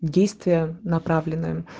действия направленные